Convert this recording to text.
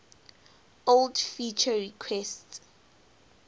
old feature requests